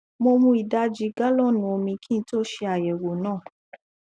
mo mu ìdajì galọọnù omi kí n tó ṣe àyẹwò náà